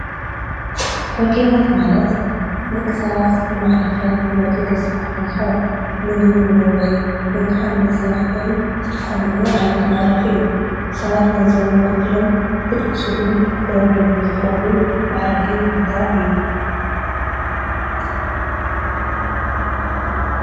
ሆቴላት ማለት ንደቂ ሰባት ንመዕረፍን ንመደቀሲን ክኾን ይክእል፡፡ ምግቢ ንመብልዒን ወይ ከዓ መዘናግዕን ዝጥቀምሉ ዓይነት መዕረፊ እዩ፡፡ ሰባት ገንዘቦም ከፊሎም ክድቅስሉን ክበልዕሉን ዝኸእሉ መዕረፊ ቦታ እዩ፡፡